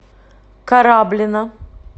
кораблино